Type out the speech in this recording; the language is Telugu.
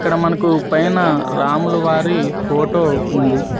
ఇక్కడ మనకు పైనా రాముల వారి ఫోటో ఉంది.